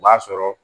O b'a sɔrɔ